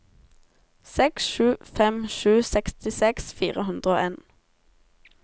seks sju fem sju sekstiseks fire hundre og en